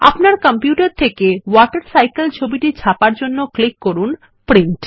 আপনার কম্পিউটার থেকে ওয়াটারসাইকেল ছবিটি ছাপার জন্য ক্লিক করুন প্রিন্ট